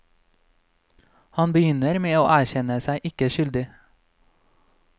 Han begynner med å erkjenne seg ikke skyldig.